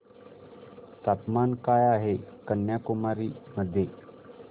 तापमान काय आहे कन्याकुमारी मध्ये